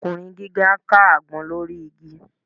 Ọkùnrin gíga ń ká àgbọn lórí igi